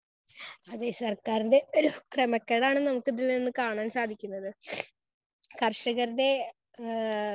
Speaker 1 അതെ സർക്കാരിൻറെ ക്രമക്കേടാണ് നമുക്ക് ഇതിൽ നിന്ന് കാണാൻ സാധിക്കുന്നത്. കർഷകരുടെ ആഹ്